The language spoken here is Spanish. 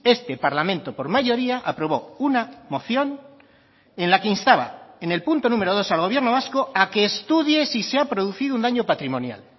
este parlamento por mayoría aprobó una moción en la que instaba en el punto número dos al gobierno vasco a que estudie si se ha producido un daño patrimonial